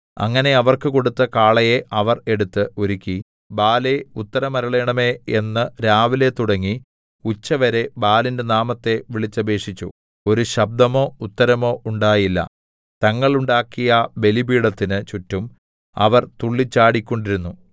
അങ്ങനെ അവർക്ക് കൊടുത്ത കാളയെ അവർ എടുത്ത് ഒരുക്കി ബാലേ ഉത്തരമരുളേണമേ എന്ന് രാവിലെ തുടങ്ങി ഉച്ചവരെ ബാലിന്റെ നാമത്തെ വിളിച്ചപേക്ഷിച്ചു ഒരു ശബ്ദമോ ഉത്തരമോ ഉണ്ടായില്ല തങ്ങൾ ഉണ്ടാക്കിയ ബലിപീഠത്തിന് ചുറ്റും അവർ തുള്ളിച്ചാടിക്കൊണ്ടിരുന്നു